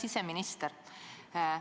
Hea siseminister!